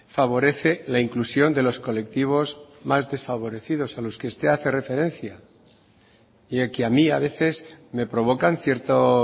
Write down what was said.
favorece la inclusión de los colectivos más desfavorecidos a los que usted hace referencia y que a mí a veces me provocan cierto